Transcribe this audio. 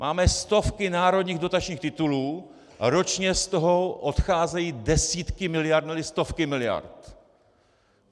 Máme stovky národních dotačních titulů, ročně z toho odcházejí desítky miliard, ne-li stovky miliard.